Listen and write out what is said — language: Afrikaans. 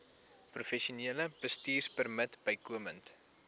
professionele bestuurpermit bykomend